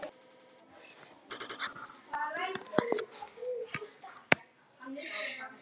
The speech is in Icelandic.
Er læri í alla mata?